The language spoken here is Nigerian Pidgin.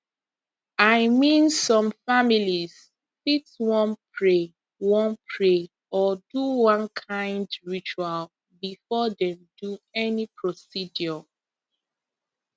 i mean some families fit wan pray wan pray or do one kind ritual before dem do any procedure